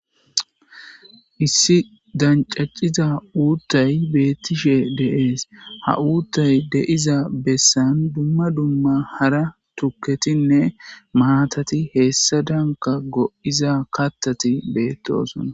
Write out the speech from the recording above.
issi dancacciza uuttay beettishe de'es, ha uuttay de'jza bessan dumma dumma hara tuketinne maatati heessa danka go'iza kattati beettoosona